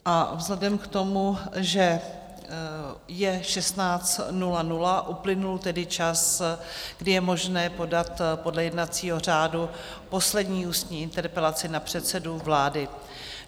A vzhledem k tomu, že je 16.00, uplynul tedy čas, kdy je možné podat podle jednacího řádu poslední ústní interpelaci na předsedu vlády.